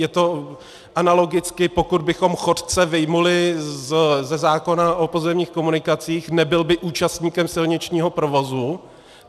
Je to analogicky, pokud bychom chodce vyjmuli ze zákona o pozemních komunikacích, nebyl by účastníkem silničního provozu.